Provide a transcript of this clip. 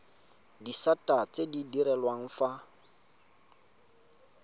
disata tse di direlwang fa